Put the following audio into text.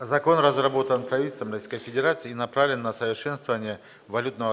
закон разработан правительством российской федерации и направлен на совершенствование валютного